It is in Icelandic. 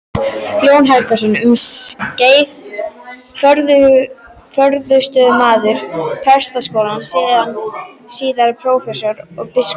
Jón Helgason, um skeið forstöðumaður Prestaskólans, síðar prófessor og biskup.